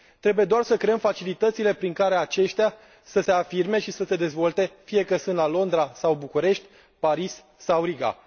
Trebuie doar să creăm facilitățile prin care aceștia să se afirme și să se dezvolte, fie că sunt la Londra sau București, Paris sau Riga.